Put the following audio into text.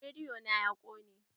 Rediyo na ya ƙone.